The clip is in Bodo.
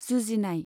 जुजिनाय